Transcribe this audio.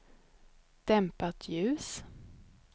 dämpat ljus